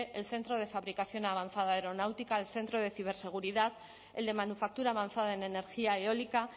el centro de fabricación avanzada aeronáutica el centro de ciberseguridad el de manufactura avanzada en energía eólica